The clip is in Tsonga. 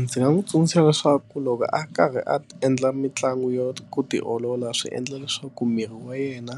Ndzi nga n'wi tsundzuxa leswaku loko a karhi a endla mitlangu yo ku tiolola swi endla leswaku miri wa yena